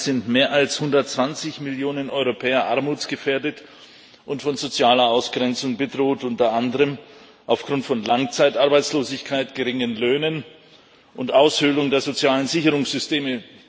Derzeit sind mehr als 120 Millionen Europäer armutsgefährdet und von sozialer Ausgrenzung bedroht, unter anderem aufgrund von Langzeitarbeitslosigkeit, geringen Löhnen und Aushöhlung der sozialen Sicherungssysteme.